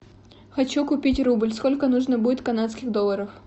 хочу купить рубль сколько нужно будет канадских долларов